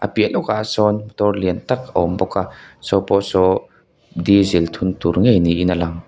piah lawkah sawn motor lian tak a awm bawk a saw pawh saw diesel thun tur ngei niin a lang.